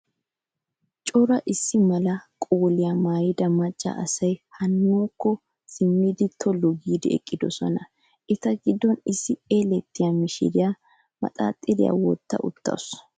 Cora issi mala qoliyaa maayyida macca asayi haa nuukko siimmidi tollu giidi eqqidosona. Eta giddon issi elettiyaa mishiriyaa maxaaxiriyaa wotta uttaasu.